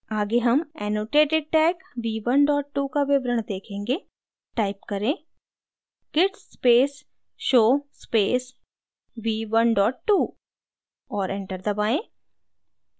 आगे हम annotated tag v12 का विवरण देखेंगे type करें: git space show space v12 और enter दबाएँ